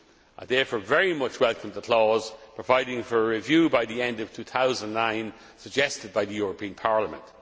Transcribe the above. suit. I therefore very much welcome the clause providing for a review by the end of 2009 suggested by the European Parliament.